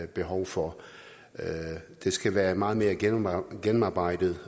behov for det skal være meget mere gennemarbejdet gennemarbejdet